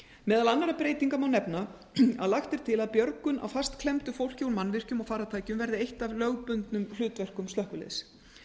meðal annarra breytinga má nefna að lagt er til að björgun á fastklemmdu fólki úr mannvirkjum og farartækjum verði eitt af lögbundnum hlutverkum slökkviliðs